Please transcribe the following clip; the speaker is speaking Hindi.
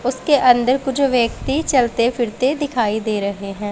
उसके अंदर कुछ व्यक्ति चलते फिरते दिखाई दे रहे हैं।